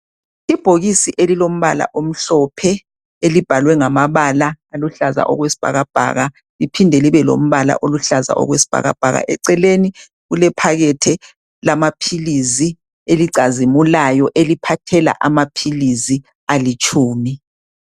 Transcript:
Ibhokisi elilombala omhlophe elibhalwe ngamabala aluhlaza okwesibhakabhaka liphinde libe lombala oluhlaza okwesibhakabhaka eceleni kulephakethe lamaphilisi elicazimulayo eliphathela amaphilisi alitshumi